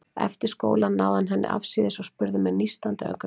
Eftir skóla náði hann henni afsíðis og spurði með nístandi augnaráði